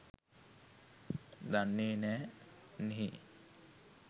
දන්නෙ නෑ නේහ්